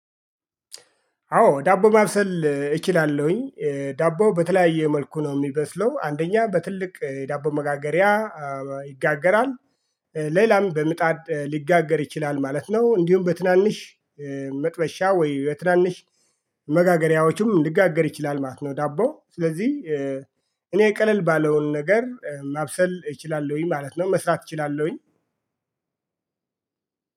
አዎ ዳቦ ማብሰል እችላለሁኝ። ዳቦ በተለያየ መልኩ ነው የሚበስለው አንደኛ በትልቅ የዳቦ መጋገሪያ ይጋገራል። ሌላም በምጣድ ሊጋገር ይችላል ማለት ነው። እንዲሁም በትናንሽ መጥበሻ ወይ በትናንሽ መጋገሪያዎችም ሊጋገር ይችላል ማለት ነው። ዳቦ ስለዚህ እኔ ቀለል ባለውን ነገር ማብሰል እችላለሁኝ ማለት ነው። መስራት እችላለሁኝ።